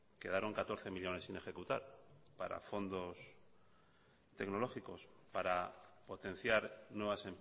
quedaron catorce millónes sin ejecutar para fondos tecnológicos para potenciar nuevas